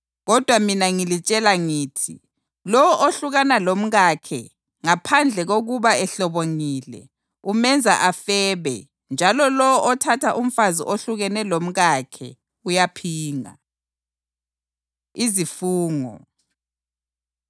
Kodwa mina ngilitshela ngithi lowo ohlukana lomkakhe, ngaphandle kokuba ehlobongile, umenza afebe, njalo lowo othatha umfazi ohlukene lomkakhe uyaphinga.” Izifungo